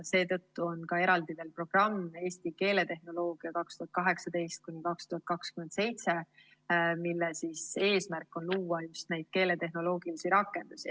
Seetõttu on ka eraldi programm "Eesti keeletehnoloogia 2018–2027", mille eesmärk on luua keeletehnoloogilisi rakendusi.